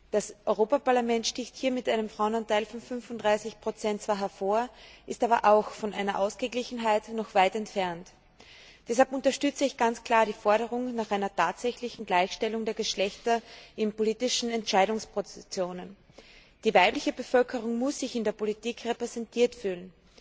Das Europäische Parlament sticht hier mit einem Frauenanteil von fünfunddreißig Prozent zwar hervor, ist aber auch von einer Ausgeglichenheit noch weit entfernt. Deshalb unterstütze ich ganz klar die Forderung nach einer tatsächlichen Gleichstellung der Geschlechter in politischen Entscheidungspositionen. Die weibliche Bevölkerung muss sich in der Politik repräsentiert fühlen.